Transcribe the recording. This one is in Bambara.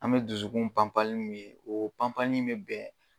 An bɛ dusukun panpanli mun ye oo panpanli in be bɛn